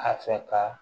A fɛ ka